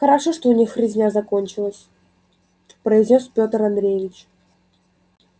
хорошо что у них резня закончилась произнёс петр андреевич